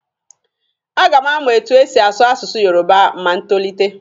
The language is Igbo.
A ga m amụ etu e si asụ asụsụ yoroba ma m tolite.